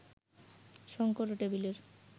শঙ্কর ও টেবিলের